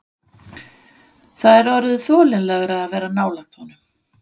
Það er orðið þolanlegra að vera nálægt honum.